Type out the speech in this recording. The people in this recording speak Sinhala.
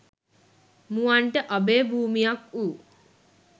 මුවන්ට අභය භූමියක් වූ